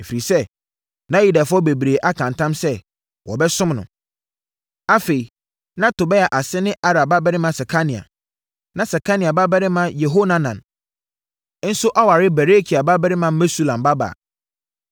Ɛfiri sɛ, na Yudafoɔ bebree aka ntam sɛ, wɔbɛsom no. Afei, na Tobia ase ne Arah babarima Sekania. Na Sekania babarima Yehohanan nso aware Berekia babarima Mesulam babaa.